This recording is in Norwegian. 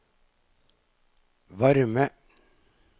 varme